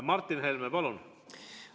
Martin Helme, palun!